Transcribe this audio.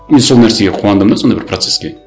и сол нәрсеге қуандым да сондай бір процеске